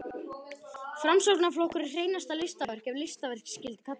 Framsóknarflokkurinn er hreinasta listaverk, ef listaverk skyldi kalla.